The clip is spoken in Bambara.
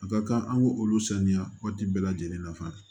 A ka kan an k'o olu saniya waati bɛɛ lajɛlen na fana